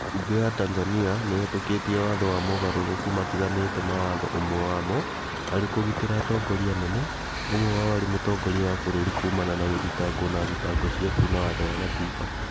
Mbunge ya Tanzania nĩĩhĩtũkĩtiĩ watho wamogarũrũku matiganĩte ma watho ũmwe wamo arĩ kũgitĩra atongoria anene, ũmwe wao arĩ mũtongoria wa bũrũri kumana na gũthitangwo na thitango cia kuna watho wa gatiba